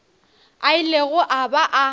a ilego a ba a